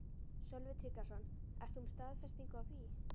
Sölvi Tryggvason: Ert þú með staðfestingu á því?